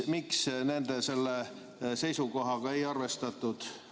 Miks selle seisukohaga ei arvestatud?